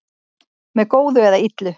Með góðu eða illu